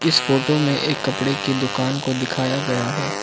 इस फोटो में एक कपड़े की दुकान को दिखाया गया है।